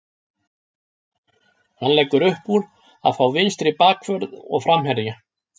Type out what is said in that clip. Hann leggur uppúr að fá vinstri bakvörð og framherja.